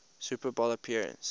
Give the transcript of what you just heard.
super bowl appearance